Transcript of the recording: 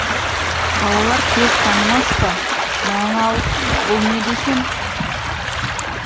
балалар тез танымас па мынаны алып бұл не десем